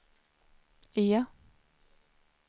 E